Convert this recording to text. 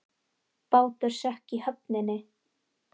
Bátur sökk í höfninni